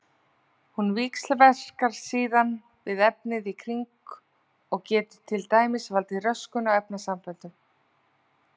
Hún víxlverkar síðan við efnið í kring og getur til dæmis valdið röskun á efnasamböndum.